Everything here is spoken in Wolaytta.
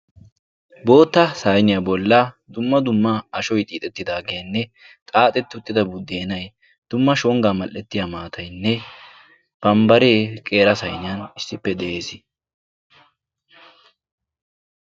Bootta sayniyaa bolla dumma dumma ashoy xiixettidaageenne xaaxetti uttida buddeenay dumma shonggaa mal'ettiya maataynne bambbaree qeera sayniyan issippe de'ees.